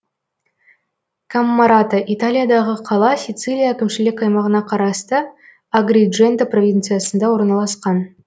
каммарата италиядағы қала сицилия әкімшілік аймағына қарасты агридженто провинциясында орналасқан